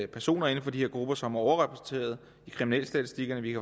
personer inden for de her grupper som er overrepræsenteret i kriminalstatistikerne vi